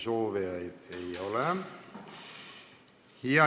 Sõnasoovijaid ei ole.